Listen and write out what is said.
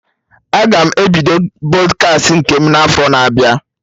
Aga m ebido Pọdkast nke m na afọ na-abịa